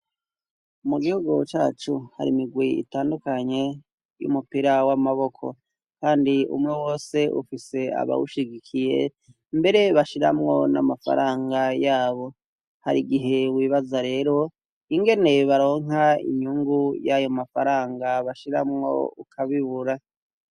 Ikigo c' ishure gifis'abakinyi babahungu bakin' umupira w' amaboko bambay' impuzu zisa bafise n' imipir' ibiri, bahagaze mu kibuga gisiz' isima n' umusenyi, inyuma yabo har' inzu n' ibiti bitotahaye bifis' amasham' asa n' icatsi kibisi hari n'icuma gishinze gifis' umuzingi w'icuma binjizamw' umupira.